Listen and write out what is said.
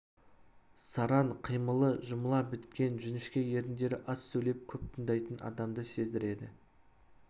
сараң қимылы жұмыла біткен жіңішке еріндері аз сөйлеп көп тыңдайтын адамды сездіреді